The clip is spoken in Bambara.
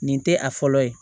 Nin tɛ a fɔlɔ ye